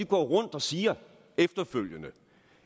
går rundt og siger efterfølgende